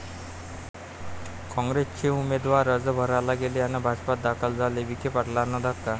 काँग्रेसचे उमेदवार अर्ज भरायला गेले अन् भाजपात दाखल झाले, विखे पाटलांना धक्का